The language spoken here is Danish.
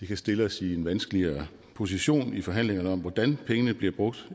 det kan stille os i en vanskeligere position i forhandlingerne om hvordan pengene bliver brugt